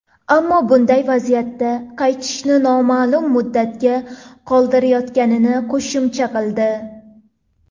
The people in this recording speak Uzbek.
Ammo bunday vaziyatda qaytishni noma’lum muddatga qoldirayotganini qo‘shimcha qildi.